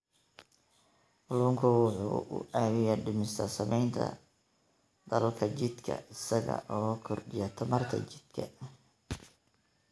Kalluunku waxa uu caawiyaa dhimista saamaynta daalka jidhka isaga oo kordhiya tamarta jidhka.